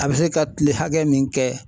A bɛ se ka tile hakɛ min kɛ